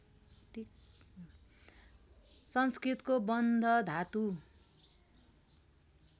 संस्कृतको बन्ध धातु